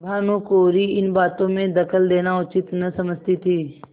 भानुकुँवरि इन बातों में दखल देना उचित न समझती थी